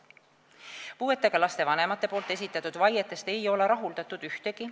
Puudega laste vanemate esitatud vaietest ei ole rahuldatud ühtegi.